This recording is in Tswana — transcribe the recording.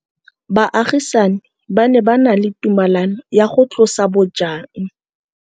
Baagisani ba ne ba na le tumalanô ya go tlosa bojang.